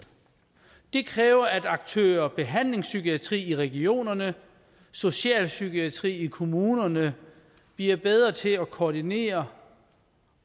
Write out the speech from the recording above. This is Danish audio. det kræver at aktørerne behandlingspsykiatrien i regionerne og socialpsykiatrien i kommunerne bliver bedre til at koordinere